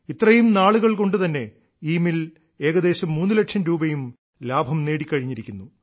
ഇത്രയും നാളുകൾ കൊണ്ടു തന്നെ ഈ മിൽ ഏകദേശം മൂന്നുലക്ഷം രൂപയും ലാഭം നേടിക്കഴിഞ്ഞിരിക്കുന്നു